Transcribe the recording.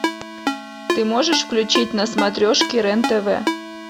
ты можешь включить на смотрешке рен тв